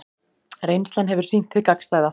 Reynslan hefur sýnt hið gagnstæða